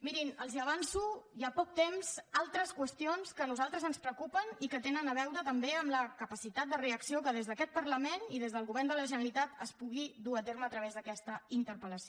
mirin els avanço hi ha poc temps altres qüestions que a nosaltres ens preocupen i que tenen a veure també amb la capacitat de reacció que des d’aquest parlament i des del govern de la generalitat es pugui dur a terme a través d’aquesta interpel·lació